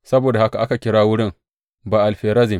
Saboda haka aka kira wurin Ba’al Ferazim.